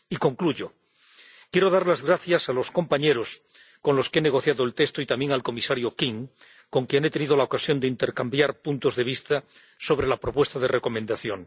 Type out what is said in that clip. Para concluir, quiero dar las gracias a los compañeros con los que he negociado el texto, y también al comisario King, con quien he tenido la ocasión de intercambiar puntos de vista sobre la propuesta de Recomendación.